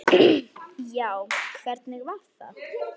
Já, hvernig var það?